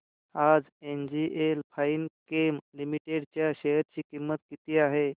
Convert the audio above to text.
आज NGL Finechem limited च्या share ची किंमत किती आहे